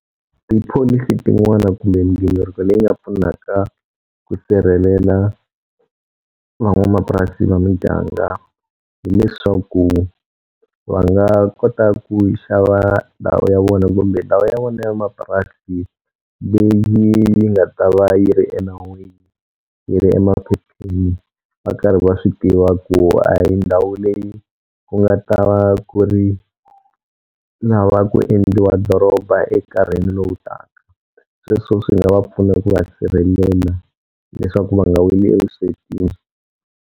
Tipholisi tin'wana kumbe mighiniriko leyi nga pfunaka ku sirhelela van'wamapurasi va miganga hileswaku va nga kota ku yi xava ndhawu ya vona kumbe ndhawu ya vona ya mapurasi leyi nga ta va yi ri enawini yi ri emaphepheni va karhi va swi tiva ku a hi ndhawu leyi ku nga ta va ku ri lava ku endliwa doroba ekarhini lowu taka sweswo swi nga va pfuna ku va sirhelela leswaku va nga weli evuswetini.